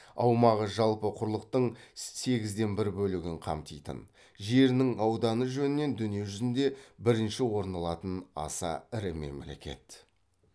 аумағы жалпы құрлықтың сегізден бір бөлігін қамтитын жерінің ауданы жөнінен дүниежүзінде бірінші орын алатын аса ірі мемлекет